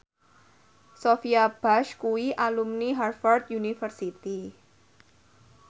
Sophia Bush kuwi alumni Harvard university